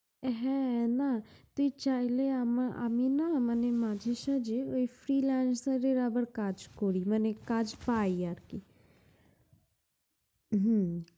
হ্যাঁ না তুই চাইলে আমা~ আমি না মানে মাসে সাজে ঐ Freelancer এর আবার কাজ করি, মানে কাজ পাই আরকি। হু